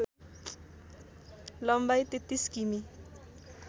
लम्बाइ ३३ किमी